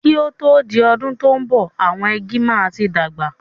Kí o tó di ọdún tò ń bọ̀, àwọn igi náà máa tí dàgbà